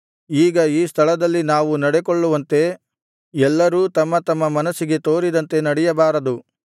ಈಗ ಈ ಸ್ಥಳದಲ್ಲಿ ನಾವು ನಡೆಕೊಳ್ಳುವಂತೆ ಎಲ್ಲರೂ ತಮ್ಮ ತಮ್ಮ ಮನಸ್ಸಿಗೆ ತೋರಿದಂತೆ ನಡೆಯಬಾರದು